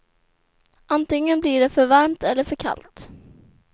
Antingen blir det för varmt eller för kallt.